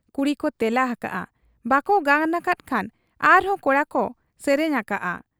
ᱠᱩᱲᱤᱠᱚ ᱛᱮᱞᱟ ᱟᱠᱟᱜ ᱟ ᱾ ᱵᱟᱠᱚ ᱜᱟᱱ ᱟᱠᱟᱫ ᱠᱷᱟᱱ ᱟᱨᱦᱚᱸ ᱠᱚᱲᱟᱠᱚ ᱥᱮᱨᱮᱧ ᱟᱠᱟᱜ ᱟ ᱾